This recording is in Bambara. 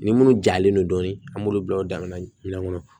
Ni minnu jalen don dɔɔnin an b'olu bila o damina